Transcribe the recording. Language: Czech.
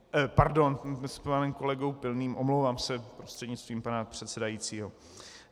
Pardon, s panem kolegou Pilným, omlouvám se prostřednictvím pana předsedajícího.